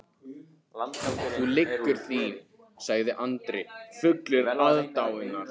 Þú lýgur því, sagði Andri fullur aðdáunar.